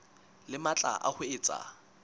le matla a ho etsa